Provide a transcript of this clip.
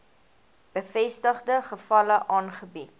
bevestigde gevalle aangebied